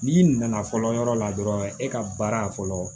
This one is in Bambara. N'i nana fɔlɔ yɔrɔ la dɔrɔn e ka baara fɔlɔ